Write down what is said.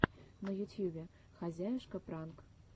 на ютьюбе хозяюшка пранк